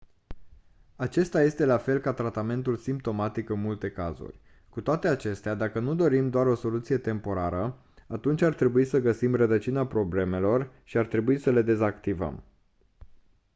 acesta este la fel ca tratamentul simptomatic în multe cazuri cu toate acestea dacă nu dorim doar o soluție temporară atunci ar trebui să găsim rădăcina problemelor și ar trebui să le dezactivăm